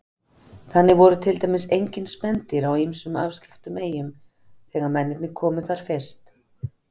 Þannig voru til dæmis engin spendýr á ýmsum afskekktum eyjum þegar mennirnir komu þar fyrst.